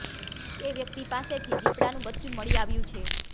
તે વ્યક્તિ પાસેથી દીપડાનું બચ્ચું મળી આવ્યું છે